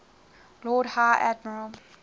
lord high admiral